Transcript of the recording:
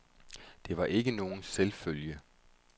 Det var ikke nogen selvfølge.